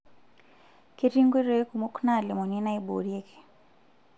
Ketii nkoitoi kumok naalimuni naaiborieki.